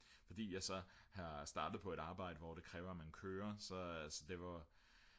fordi jeg så er startet på et arbejde hvor det kræver at man kører så det var